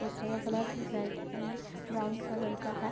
Poster का colour red and brown colour का है ।